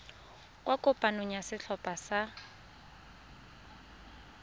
kwa kopanong ya setlhopha sa